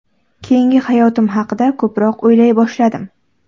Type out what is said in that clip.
Keyingi hayotim haqida ko‘proq o‘ylay boshladim.